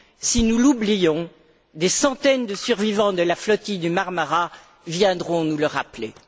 Si nous l'oublions, des centaines de survivants de la flottille du Marmara viendront nous le rappeler.